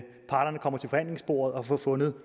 parterne kommer til forhandlingsbordet og får fundet